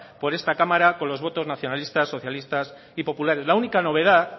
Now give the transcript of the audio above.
por esta cámara con los votos nacionalistas socialistas y populares la única novedad